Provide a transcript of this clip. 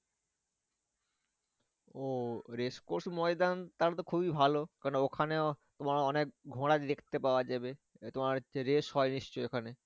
ও race across ময়দান তাহলে তো খুবই ভালো কেন না ওখানে অনেক ঘোড়া দেখতে পাওয়া যাবে। তোমার হচ্ছে race হয় নিশ্চই ওখানে